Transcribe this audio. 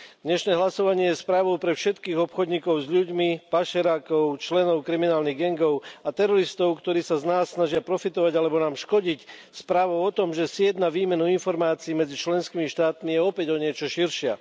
Dnešné hlasovanie je správou pre všetkých obchodníkov s ľuďmi, pašerákov, členov kriminálnych gangov a teroristov, ktorí sa z nás snažia profitovať alebo nám škodiť správou o tom, že sieť na výmenu informácií medzi členskými štátmi je opäť o niečo širšia.